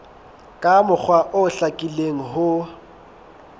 ka mokgwa o hlakileng ho